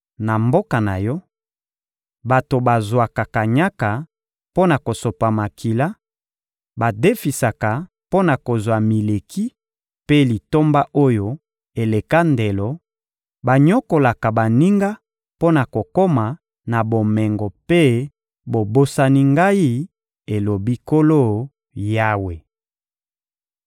Na mboka na yo, bato bazwaka kanyaka mpo na kosopa makila, badefisaka mpo na kozwa mileki mpe litomba oyo eleka ndelo, banyokolaka baninga mpo na kokoma na bomengo mpe bobosani Ngai, elobi Nkolo Yawe.